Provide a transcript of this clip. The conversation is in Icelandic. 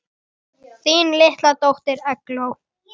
Þín litla dóttir, Eygló.